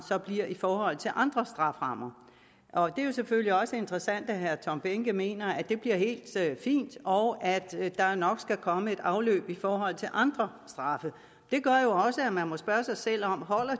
bliver i forhold til andre strafferammer det er selvfølgelig også interessant at herre tom behnke mener at det bliver helt fint og at der nok skal komme et afløb i forhold til andre straffe det gør jo også at man må spørge sig selv om